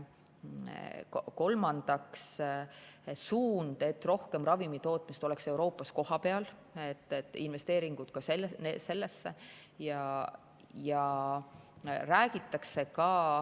Kolmandaks suund, et rohkem ravimitootmist oleks Euroopas kohapeal, investeeringud sellesse.